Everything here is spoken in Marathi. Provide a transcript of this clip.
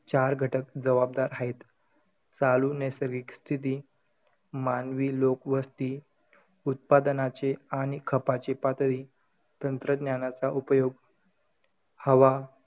चार घटक जबाबदार हायेत. चालू नैसर्गिक स्थिती. मानवी लोकवस्ती. उत्पादनाची आणि खपाची पातळी. तंत्रज्ञानाचा उपयोग. हवा,